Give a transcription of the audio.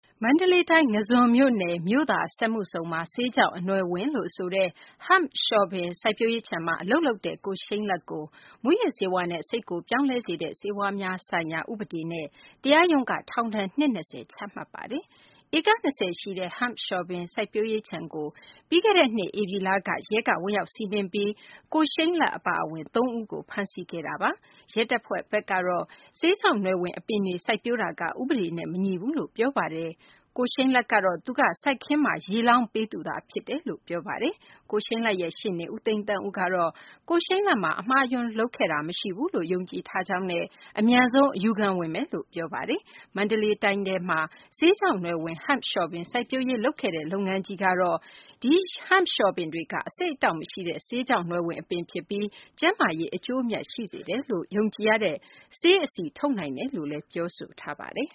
မန္တလေးတိုင်း ငါးဇွန်မြို့နယ် မြို့သာ စက်မှုဇုန်မှာ ဆေးခြောက် အနွယ်ဝင်လို့ ဆိုတဲ့ Hemp လျှော်ပင် စိုက်ပျိုးရေးခြံမှာ အလုပ်လုပ်တဲ့ ကိုရှိန်းလတ်ကို မူးယစ်ဆေးဝါးနဲ့ စိတ်ကိုပြောင်းလဲစေတဲ့ ဆေးဝါးများဆိုင်ရာ ဥပဒေနဲ့ တရားရုံးက ထောင်ဒဏ် နှစ် ၂၀ ချမှတ်လိုက်ပါတယ်။ ဧက ၂၀ ရှိတဲ့ Hemp လျှော်ပင် စိုက်ပျိုးရေး ခြံကို ပြီးခဲ့တဲ့နှစ် ဧပြီလက ရဲက ဝင်ရောက်စီးနင်းပြီး ကိုရှိန်းလတ် အပါအဝင် သုံးဦးကို ဖမ်းဆီးခဲ့တာပါ။ ရဲတပ်ဖွဲ့ဘက်ကတော့ ဆေးခြောက်နွယ်ဝင် အပင်တွေ စိုက်ပျိုးမှုက ဥပဒေနဲ့ မညီဘူးလို့ ပြောဆိုထားတာပါ။ ကိုရှိန်းလတ်ကတော့သူက စိုက်ခင်းမှာ ရေလောင်းပေးသူသာ ဖြစ်တယ်လို့ ပြောဆိုထားတာပါ။ ကိုရှိန်းလတ်ရဲ့ ရှေ့နေ ဦးသိန်းသန်းဦးကလည်း ကိုရှိန်းလတ်ဘက်က အမှားအယွင်း လုပ်ခဲ့တာ မရှိဘူးလို့ ယုံကြည်ထားကြောင်းနဲ့ အမြန်ဆုံး အယူခံဝင်မယ်လို့ ပြောပါတယ်။ မန္တလေးတိုင်းထဲမှာ ဆေးခြောက်နွယ်ဝင် Hemp လျှော်ပင် စိုက်ပျိုးရေး လုပ်ခဲ့တဲ့ III M Global Nutraceutical ကတော့ ဒီ Hemp လျှော်ပင်တွေက အဆိပ်အတောက် မရှိတဲ့ ဆေးခြောက်နွယ်ဝင် အပင် ဖြစ်ပြီး ကျန်းမာရေး အကျိုးအမြတ် ရှိစေတယ်လို့ ယုံကြည်ရတဲ့ ဆေးအဆီ ထုတ်နိုင်တယ်လို့ ပြောဆိုထားပါတယ်